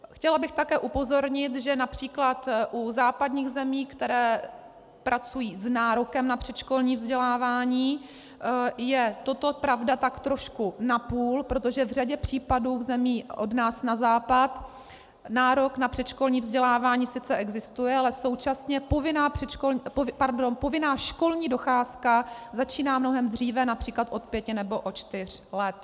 Chtěla bych také upozornit, že například u západních zemí, které pracují s nárokem na předškolní vzdělávání, je toto pravda tak trošku napůl, protože v řadě případů v zemí od nás na západ nárok na předškolní vzdělávání sice existuje, ale současně povinná školní docházka začíná mnohem dříve, například od pěti nebo od čtyř let.